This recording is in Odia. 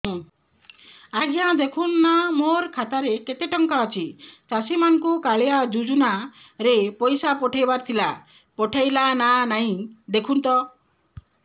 ଆଜ୍ଞା ଦେଖୁନ ନା ମୋର ଖାତାରେ କେତେ ଟଙ୍କା ଅଛି ଚାଷୀ ମାନଙ୍କୁ କାଳିଆ ଯୁଜୁନା ରେ ପଇସା ପଠେଇବାର ଥିଲା ପଠେଇଲା ନା ନାଇଁ ଦେଖୁନ ତ